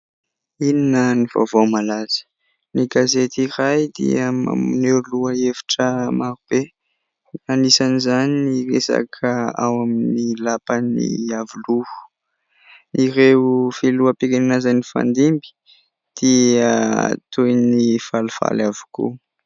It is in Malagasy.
Inona ny vaovao malaza ? Ny gazety iray dia maneho lohahevitra maro be. Anisan'izany ny resaka ao amin'ny lapan'ny Iavoloha. Ireo filoham-pirenena izay nifandimby dia toy ny falifaly avokoa.